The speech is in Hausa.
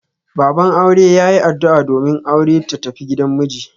Baban aure ya yin addu'a domin aure ta tafi gidan miji.